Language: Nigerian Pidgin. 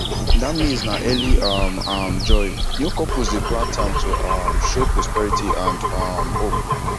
that maize na early um um joy new couples dey plant am to um show prosperity and um hope